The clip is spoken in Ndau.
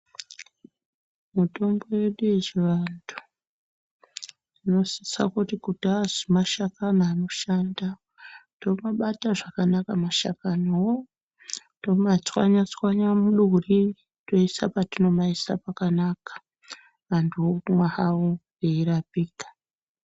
Mutombo yedu yechi vantu tinosisa kuti azi ma shakani anoshanda tomabata zvakanaka mashakani wo toma tswanya tswanya muduri toisa patino maisa pakanaka vantu omwa hawo eyi rapika.